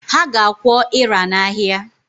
Ha ga-akwọ ịra n’ahịa